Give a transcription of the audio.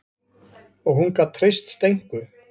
Og hún gat treyst Steinku.